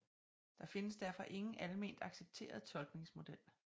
Der findes derfor ingen alment accepteret tolkningsmodel